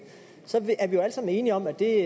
så er vi alle sammen enige om at det